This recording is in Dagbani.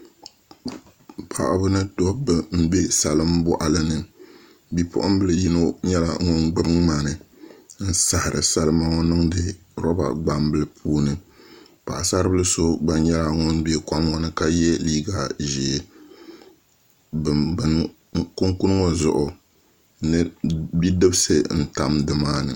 Paɣaba ni dabba n bɛ salin boɣali ni bipuɣunbili yino nyɛla ŋun gbuni ŋmani n sahari salima ŋo niŋdi roba gbambili puuni paɣasari bili so gba nyɛla ŋun bɛ kom ŋo ni ka yɛ liiga ʒiɛ kunkun ŋo zuɣu bidibsi n tam nimaani